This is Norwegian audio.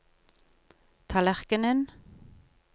tallerkenen